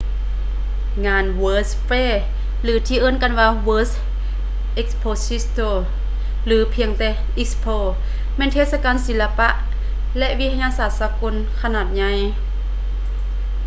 ງານ world's fair ຫຼື ທີ່ເອີ້ນກັນວ່າ world expositio ຫຼື ພຽງແຕ່ expo ແມ່ນເທດສະການສີລະປະ ແລະ ວິທະຍາສາດສາກົນຂະໜາດໃຫຍ່